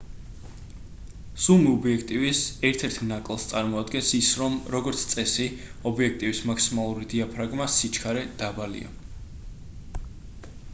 ზუმ ობიექტივის ერთ-ერთ ნაკლს წარმოადგენს ის რომ როგორც წესი ობიექტივის მაქსიმალური დიაფრაგმა სიჩქარე დაბალია